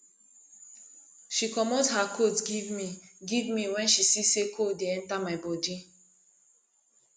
she comot her coat give me give me wen she see sey cold dey enta my bodi